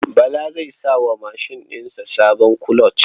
Bala zai sa wa mashin ɗin sa sabon kuloc.